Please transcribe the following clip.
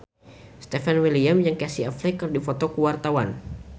Stefan William jeung Casey Affleck keur dipoto ku wartawan